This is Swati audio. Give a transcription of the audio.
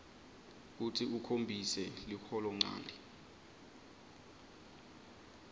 kutsi ukhombise liholonchanti